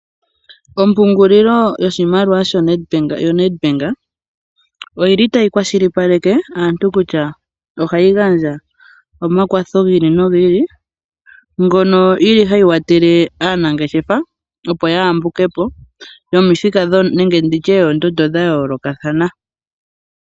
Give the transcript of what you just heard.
Ompungulilo yoshimaliwa yoNedbank oyi li tayi kwashilipaleke aantu kutya ohayi gandja omakwatho gi ili nogi ili, ngono yi li hayi kwathele aanangeshefa opo ya yambuke po, yomithika nenge ndi tye yoondondo dha yoolokathana.